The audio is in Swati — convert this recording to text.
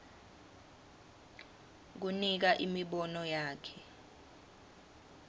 kunika imibono yakhe